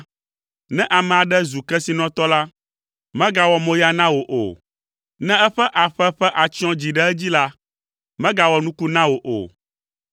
Ne ame aɖe zu kesinɔtɔ la, megawɔ moya na wò o, ne eƒe aƒe ƒe atsyɔ̃ dzi ɖe edzi la, megawɔ nuku na wò o,